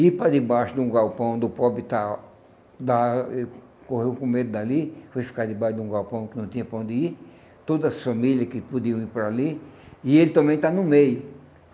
e ir para debaixo de um galpão onde o pobre está está e correu com medo dali, foi ficar debaixo de um galpão que não tinha para onde ir, todas as famílias que podiam ir para ali, e ele também está no meio.